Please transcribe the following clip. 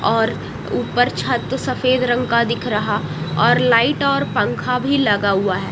और ऊपर छत सफेद रंग का दिख रहा और लाइट और पंखा भी लगा हुआ है।